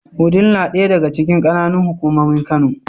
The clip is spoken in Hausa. Wudil na ɗaya daga cikin ƙananan hukumomin Kano.